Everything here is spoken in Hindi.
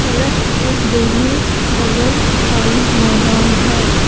सड़क के दोनों बगल खाली मैदान है।